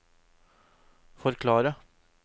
forklare